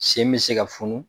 Sen bɛ se ka funu.